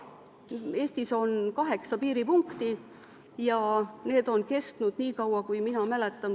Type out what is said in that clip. Aga Eestis on kaheksa piiripunkti ja need on olnud nii kaua, kui mina mäletan.